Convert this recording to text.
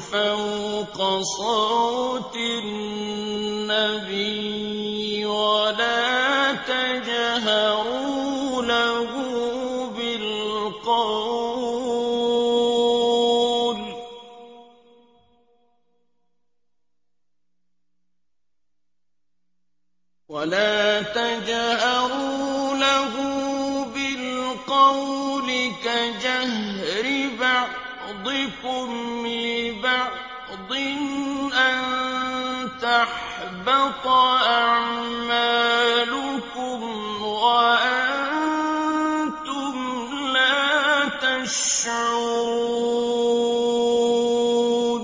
فَوْقَ صَوْتِ النَّبِيِّ وَلَا تَجْهَرُوا لَهُ بِالْقَوْلِ كَجَهْرِ بَعْضِكُمْ لِبَعْضٍ أَن تَحْبَطَ أَعْمَالُكُمْ وَأَنتُمْ لَا تَشْعُرُونَ